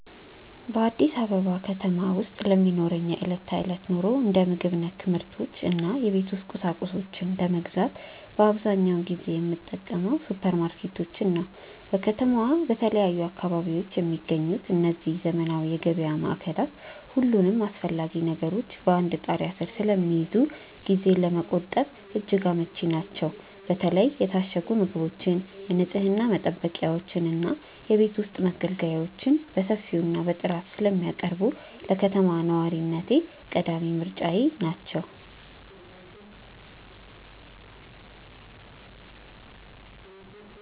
በአዲስ አበባ ከተማ ውስጥ ለሚኖረኝ የዕለት ተዕለት ኑሮ፣ እንደ ምግብ ነክ ምርቶች እና የቤት ውስጥ ቁሳቁሶችን ለመግዛት አብዛኛውን ጊዜ የምጠቀመው ሱፐርማርኬቶችን ነው። በከተማዋ በተለያዩ አካባቢዎች የሚገኙት እነዚህ ዘመናዊ የገበያ ማዕከላት፣ ሁሉንም አስፈላጊ ነገሮች በአንድ ጣሪያ ስር ስለሚይዙ ጊዜን ለመቆጠብ እጅግ አመቺ ናቸው። በተለይ የታሸጉ ምግቦችን፣ የንፅህና መጠበቂያዎችን እና የቤት ውስጥ መገልገያዎችን በሰፊው እና በጥራት ስለሚያቀርቡ፣ ለከተማ ነዋሪነቴ ቀዳሚ ምርጫዬ ናቸው።